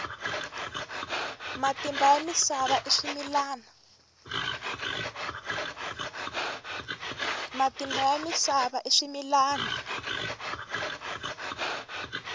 matimba ya misava i swimilwana